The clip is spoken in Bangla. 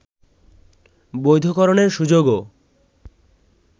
বৈধকরণের সুযোগও